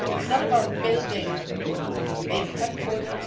So this is not about building a big headquarters.